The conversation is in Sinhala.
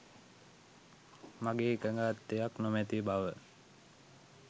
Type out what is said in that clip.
මගේ එකඟත්වයක් නොමැති බව